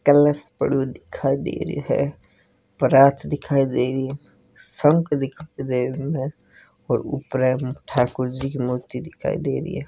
कलश पढ़ो दिखाई दे ररेहो है परात दिखाई दे रही है शंक दिखाई दे रो है और ऊपरे में ठाकुर जी की मूर्ति दिखाई दे री है।